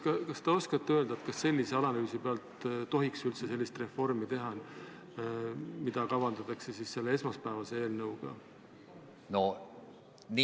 Kas te oskate öelda, kas sellise analüüsi alusel tohiks üldse teha niisugust reformi, nagu seda esmaspäevase eelnõuga kavandatakse?